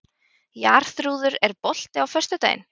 Jarþrúður, er bolti á föstudaginn?